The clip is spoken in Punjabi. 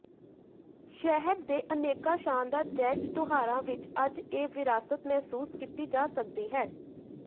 ਸ਼ਹਿਰ ਦੇ ਅਨੇਕਾਂ ਸ਼ਾਨਦਾਰ ਜੈਜ਼ ਤਿਉਹਾਰਾਂ ਵਿੱਚ ਅੱਜ ਇਹ ਵਿਰਾਸਤ ਮਹਿਸੂਸ ਕੀਤੀ ਜਾ ਸਕਦੀ ਹੈ